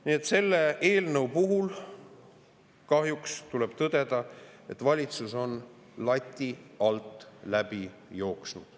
Nii et selle eelnõu puhul tuleb kahjuks tõdeda, et valitsus on lati alt läbi jooksnud.